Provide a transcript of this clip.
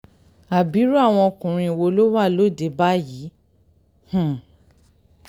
abirù àwọn ọkùnrin wo ló wà lóde báyìí um